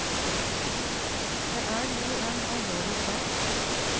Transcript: Det er jo en alvorlig sak.